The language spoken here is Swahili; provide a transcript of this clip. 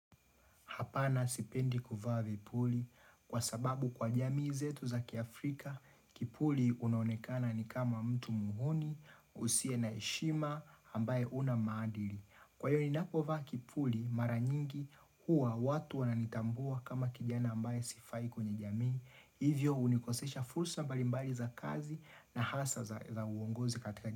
Hapana sipendi kufa vipuli kwa sababu kwa jamii zetu za kiafrika, kipuli unaononekana ni kama mtu muhoni, usiye na heshima ambaye huna maadili. Kwa hiyo ninapovaa kipuli mara nyingi huwa watu wananitambua kama kijana ambaye sifai kwenye jamii. Hivyo hunikosesha fulsa mbalimbali za kazi na hasa za uongozi katika.